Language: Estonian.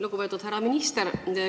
Lugupeetud härra minister!